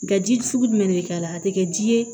Nga ji sugu jumɛn de bɛ k'a la a tɛ kɛ ji ye